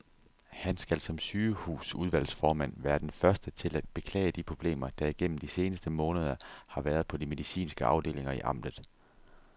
Han skal som sygehusudvalgsformand være den første til at beklage de problemer, der igennem de seneste måneder har været på de medicinske afdelinger i amtet.